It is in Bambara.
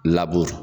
Laburu